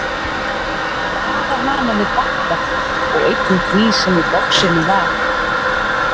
Vara hana við Badda og einnig því sem í boxinu var.